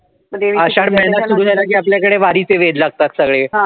आषाढ महिना सुरु झाला कि आपल्याकडे वारीचे वेड लागतात सगळे